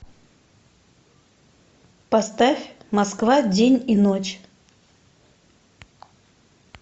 поставь москва день и ночь